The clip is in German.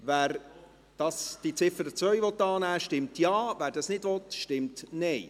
Wer diese annehmen will, stimmt Ja, wer dies nicht will, stimmt Nein.